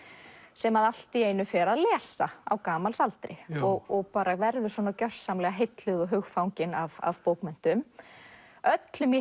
sem allt í einu fer að lesa á gamalsaldri bara verður gjörsamlega heilluð og hugfangin af bókmenntum öllum í